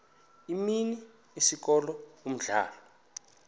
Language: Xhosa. imini isikolo umdlalo